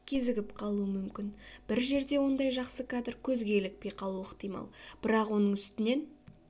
кезігіп қалуы мүмкін бір жерде ондай жақсы кадр көзге ілікпей қалуы ықтимал бірақ оның үстінен